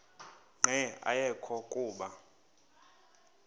nqe ayekho kuba